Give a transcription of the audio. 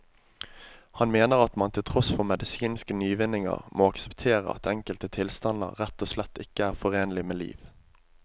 Han mener at man til tross for medisinske nyvinninger må akseptere at enkelte tilstander rett og slett ikke er forenlig med liv.